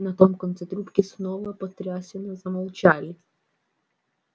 на том конце трубки снова потрясенно замолчали